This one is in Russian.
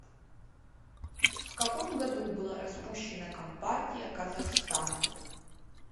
в каком году была распущена компартия казахстана